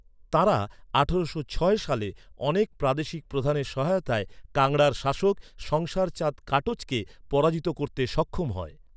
তাঁরা আঠারোশো ছয় সালে অনেক প্রাদেশিক প্রধানের সহায়তায় কাংড়ার শাসক সংসার চাঁদ কাটোচকে পরাজিত করতে সক্ষম হয়।